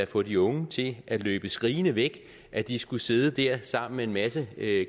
få de unge til at løbe skrigende væk at de skulle sidde der sammen med en masse